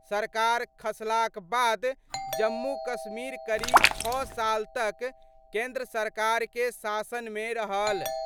सरकार खसलाक बाद जम्मू-कश्मीर करीब छह साल तक केंद्र सरकार के शासन मे रहल।